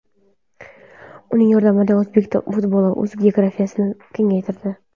Uning yordamida o‘zbek futboli o‘z geografiyasini kengaytirdi.